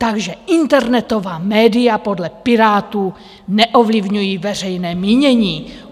Takže internetová média podle Pirátů neovlivňují veřejné mínění.